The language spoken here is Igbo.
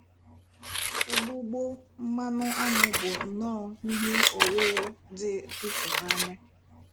Ụgbụgbọ mmanụ áṅụ bụ nnọ ihe ọwụwụ dị ịtụnanya.